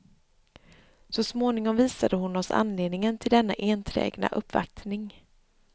Så småningom visade hon oss anledningen till denna enträgna uppvaktning.